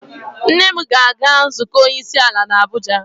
Nne m ga-aga nzukọ onye isi ala n'Abuja.